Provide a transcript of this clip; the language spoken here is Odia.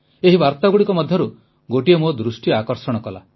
ଏହି ବାର୍ତ୍ତାଗୁଡ଼ିକ ମଧ୍ୟରୁ ଗୋଟିଏ ମୋ ଦୃଷ୍ଟି ଆକର୍ଷଣ କଲା